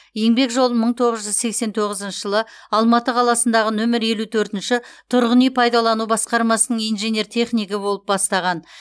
еңбек жолын мың тоғыз жүз сексен оғызыншы жылы алматы қаласындағы нөмір елу төртінші тұрғын үй пайдалану басқармасының инженер технигі болып бастаған